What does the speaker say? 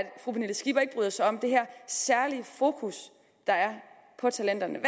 det skipper ikke bryder sig om det her særlig fokus der er på talenterne